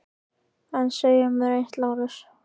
En segið mér þá eitt, Lárus.